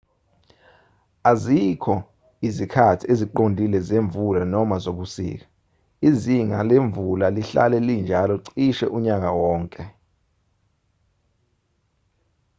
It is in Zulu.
azikho izikhathi eziqondile zemvula noma zobusika izinga lemvula lihlala linjalo cishe unyaka wonke